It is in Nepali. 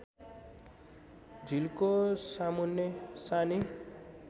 झिल्को सामुन्ने सानी